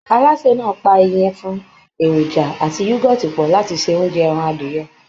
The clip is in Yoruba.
Alásè náà pa ìyẹ̀fun, èròjà àti yúgọ́ọ̀tì pọ̀ láti ṣe oúnjẹ ẹran adìyẹ